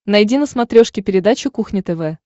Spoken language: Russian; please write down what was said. найди на смотрешке передачу кухня тв